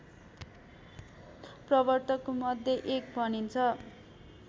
प्रवर्तकमध्ये एक भनिन्छ